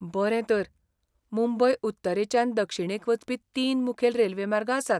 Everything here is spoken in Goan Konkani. बरें तर, मुंबय उत्तरेच्यान दक्षिणेक वचपी तीन मुखेल रेल्वे मार्ग आसात.